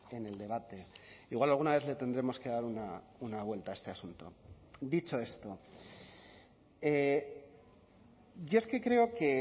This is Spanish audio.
en el debate igual alguna vez le tendremos que dar una vuelta a este asunto dicho esto yo es que creo que